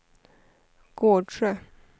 Gårdsjö